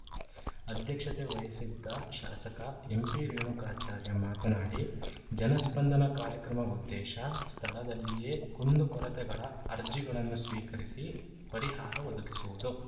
ಅಧ್ಯಕ್ಷತೆ ವಹಿಸಿದ್ದ ಶಾಸಕ ಎಂಪಿ ರೇಣುಕಾಚಾರ್ಯ ಮಾತನಾಡಿ ಜನಸ್ಪಂದನ ಕಾರ್ಯಕ್ರಮ ಉದ್ದೇಶ ಸ್ಥಳದಲ್ಲಿಯೇ ಕುಂದುಕೊರತೆಗಳ ಅರ್ಜಿಗಳನ್ನು ಸ್ವೀಕರಿಸಿ ಪರಿಹಾರ ಒದಗಿಸುವುದು